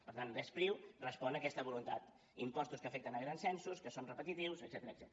per tant l’e spriu respon a aquesta voluntat impostos que afecten grans censos que són repetitius etcètera